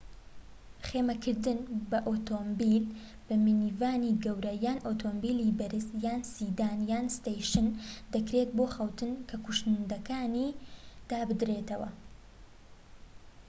خێمەکردن بە ئۆتۆمبیل بە مینیڤانی گەورە یان ئۆتۆمبیلی بەرز یان سیدان یان ستەیشن دەکرێت بۆ خەوتن کە کوشنەکانی دابدرێتەوە